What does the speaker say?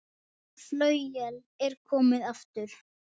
Flauel er komið aftur.